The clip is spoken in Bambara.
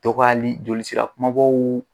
Dɔgɔyali jolisira kumabaw